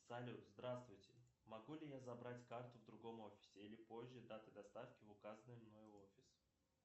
салют здравствуйте могу ли я забрать карту в другом офисе или позже даты доставки в указанный мной офис